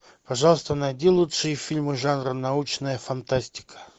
пожалуйста найди лучшие фильмы жанра научная фантастика